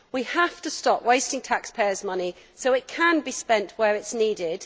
We have to stop wasting taxpayers' money so it can be spent where it is needed.